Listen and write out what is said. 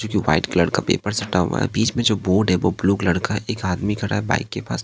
जोकि white colour का paper सटा हुआ है बीच में जो बोर्ड है वो ब्लू कलर का है एक आदमी खड़ा है बाइक के पास--